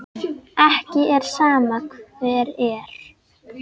Er ekki sama hver er?